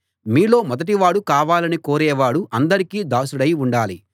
మీలో మొదటివాడు కావాలని కోరేవాడు అందరికీ దాసుడై ఉండాలి